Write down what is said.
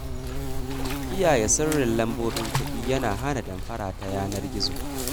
Kiyaye sirrin lambobin kuɗi yana hana damfara ta yanar gizo.